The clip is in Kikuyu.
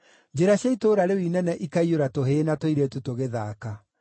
Njĩra cia itũũra rĩu inene ikaiyũra tũhĩĩ na tũirĩtu tũgĩthaaka.”